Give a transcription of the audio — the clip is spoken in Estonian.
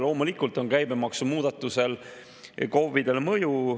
Loomulikult on käibemaksumuudatusel KOV‑idele mõju.